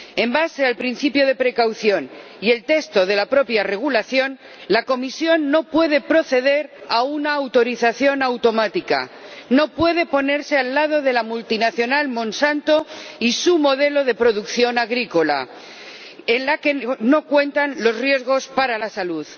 En base al principio de precaución y al texto del propio Reglamento, la Comisión no puede proceder a una autorización automática, no puede ponerse del lado de la multinacional Monsanto y su modelo de producción agrícola, en el que no cuentan los riesgos para la salud.